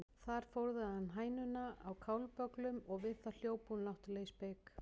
Þar fóðraði hann hænuna á kálbögglum og við það hljóp hún náttúrlega í spik.